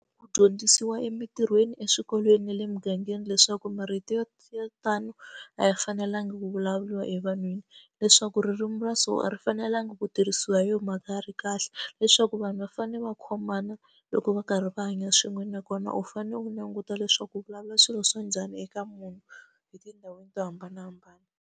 Ku dyondzisiwa emitirhweni, eswikolweni ni le mugangeni leswaku marito yo tano laya fanelanga ku vulavuriwa evanhwini leswaku ririmi ra so a ri fanelangi ku tirhisiwa yo mhaka ya ri kahle leswaku vanhu va fanele va khomana loko va karhi va hanya swin'we nakona u fanele u languta leswaku u vulavula swilo swa njhani eka munhu etindhawini to hambanahambana.